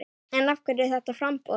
En af hverju þetta framboð?